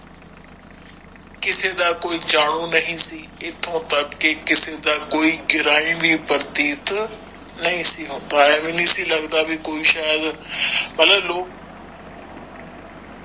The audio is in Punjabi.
ਕਿਸੇ ਦਾ ਕੋਈ ਜਾਣੂ ਨਹੀਂ ਸੀ ਏਥੋਂ ਤਕ ਤੇ ਕਿਸੇ ਦਾ ਕੋਈ ਪ੍ਰਤੀਤ ਨਹੀਂ ਸੀ ਕੋਈ ਸ਼ਯਾਦ